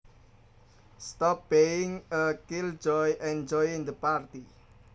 Stop being a killjoy and join the party